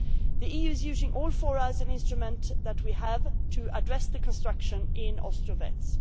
The EU is using all four as an instrument that we have to address the construction in Ostrovets.